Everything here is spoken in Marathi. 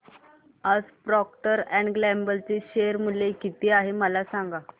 आज प्रॉक्टर अँड गॅम्बल चे शेअर मूल्य किती आहे मला सांगा